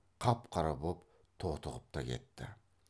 қап қара боп тотығып та кетті